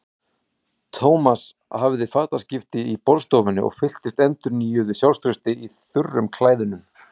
Thomas hafði fataskipti í borðstofunni og fylltist endurnýjuðu sjálfstrausti í þurrum klæðunum.